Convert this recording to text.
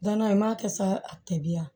Danna n m'a kɛ sa a tɛbiya